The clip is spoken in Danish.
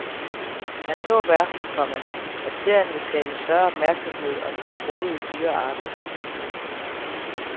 Hans håb er, komma at serien vil skabe større opmærksomhed om de truede dyrearter. punktum